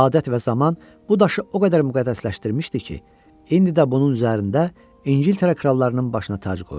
Adət və zaman bu daşı o qədər müqəddəsləşdirmişdi ki, indi də bunun üzərində İngiltərə krallarının başına tac qoyulur.